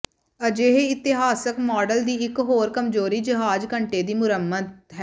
ਅਜਿਹੇ ਇਤਿਹਾਸਕ ਮਾਡਲ ਦੀ ਇਕ ਹੋਰ ਕਮਜ਼ੋਰੀ ਜਹਾਜ਼ ਘੰਟੇ ਦੀ ਮੁਰੰਮਤ ਹੈ